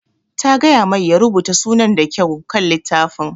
Ta gaya mai ya rubuta sunar ta da kyau kan littafin